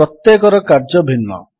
ପ୍ରତ୍ୟେକର କାର୍ଯ୍ୟ ଭିନ୍ନ